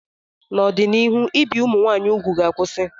N'ọdịnihu, ibi ụmụ nwanyị úgwù ga-akwụsị.